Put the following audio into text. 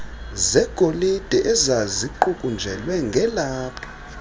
zegolide ezaziqukunjelwe ngelaphu